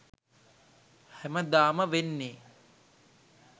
හැමදාම වෙන්නේ